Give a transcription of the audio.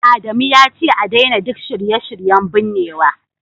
Adamu yace a daina duk shirye-shiryen binnewa